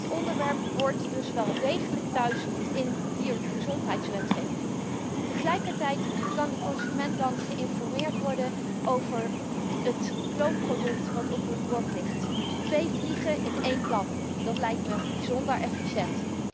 Dit onderwerp hoort dus wel degelijk in diergezondheidswetgeving thuis. Tegelijkertijd kan de consument dan geïnformeerd worden over het kloonproduct dat op zijn bord ligt. Twee vliegen in één klap, dat lijkt mij bijzonder efficiënt.